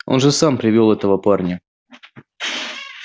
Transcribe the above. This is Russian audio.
он же сам привёл этого парня